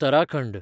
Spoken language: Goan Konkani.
उत्तराखंड